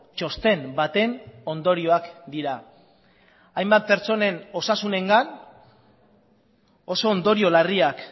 txosten baten ondorioak dira hainbat pertsonen osasunengan oso ondorio larriak